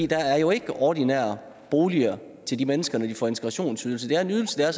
der er jo ikke ordinære boliger til de mennesker når de får integrationsydelse det er en ydelse der